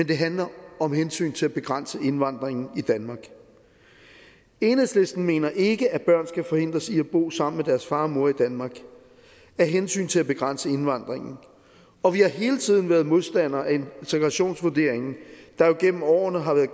det handler om hensynet til at begrænse indvandringen i danmark enhedslisten mener ikke at børn skal forhindres i at bo sammen med deres far og mor i danmark af hensyn til at begrænse indvandringen og vi har hele tiden været modstandere af integrationsvurderingen der jo gennem årene har været